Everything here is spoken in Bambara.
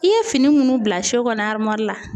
I ye fini minnu bila so kɔnɔ la.